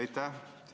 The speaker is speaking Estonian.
Aitäh!